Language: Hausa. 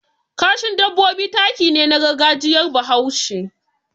Kashin dabbobi taki ne na gargajiyar Bahaushe.